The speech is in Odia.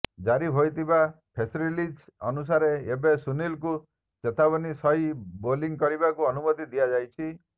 ଜାରି ହୋଇଥିବା ପ୍ରେସ୍ରିଲିଜ ଅନୁସାରେ ଏବେ ସୁନୀଲଙ୍କୁ ଚେତାବନୀ ସହି ବୋଲିଂ କରିବାକୁ ଅନୁମତି ଦିଆଯାଇଛି